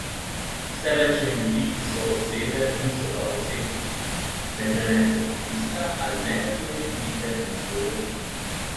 Vse več je ljudi, ki so osebe, niso pa osebnosti: "Ne prenesejo pritiska ali negativne kritike na svoj račun.